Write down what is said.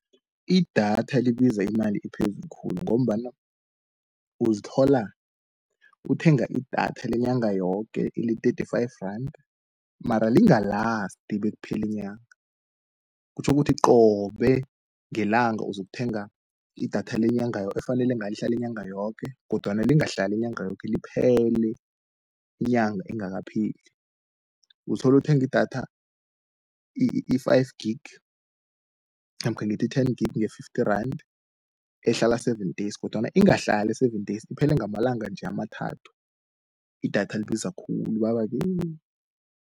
Idatha libiza imali ephezulu khulu, ngombana uzithola uthenga idatha lenyanga yoke le-thirty-five rand, mara lingalasti bekupheli inyanga. Kutjho ukuthi qobe ngelanga ozokuthenga idatha lenyanga efanele ngelihlalinyanga yoke, kodwana lingahlali inyanga yoke liphele, inyanga engakapheli. Utholu uthengi idatha i-five gig, namkha ngithi i-ten-gig, nge-fifty rand ehlala seven days, kodwana ingahlali i-seven days iphele ngamalanga nje amathathu. Idatha libiza khulu baba-ke.